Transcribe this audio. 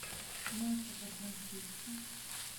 мясо по французски